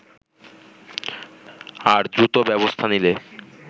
আর দ্রুত ব্যবস্থা নিলে